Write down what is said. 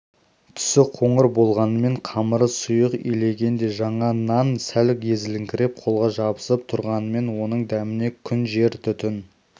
түсі қоңыр болғанымен қамыры сұйық иленгендей жаңа нан сәл езіліңкіреп қолға жабысып тұрғанымен оның дәміне күн жер түтін